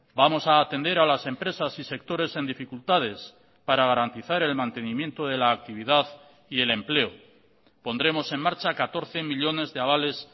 vamos a atender a las empresas y sectores en dificultades para garantizar el mantenimiento de la actividad y el empleo pondremos en marcha catorce millónes de avales